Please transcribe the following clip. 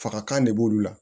Faga kan de b'olu la